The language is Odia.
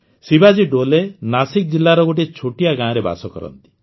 ଶିବାଜୀ ଡୋଲେ ନାଶିକ ଜିଲ୍ଲାର ଗୋଟିଏ ଛୋଟିଆ ଗାଆଁରେ ବାସ କରନ୍ତି